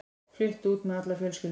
Flutti út með alla fjölskylduna.